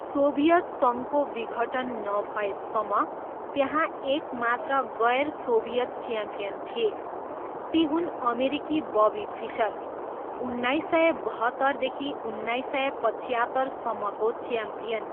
Soviet सङ्घको विघटन नभएसम्म, त्यहाँ एक मात्र गैर सोभियत च्याम्पियन थिए, ती हुन् अमेरिकी बबी फिसर, उन्नाइसय बहत्तरदेखि उन्नाइस सय पच्यात्तरसम्मको च्याम्पियन।